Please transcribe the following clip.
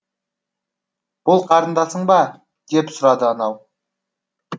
бұл қарындасың ба деп сұрады анау